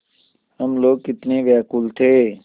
हम लोग कितने व्याकुल थे